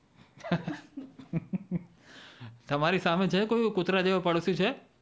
તમારી સામે છે કોઈ એવો કુતરા જેવો પાડોસી છે?